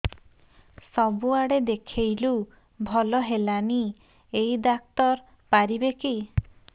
ସବୁଆଡେ ଦେଖେଇଲୁ ଭଲ ହେଲାନି ଏଇ ଡ଼ାକ୍ତର ପାରିବେ କି